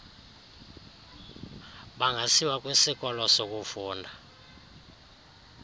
bangasiwa kwisikoko sokufunda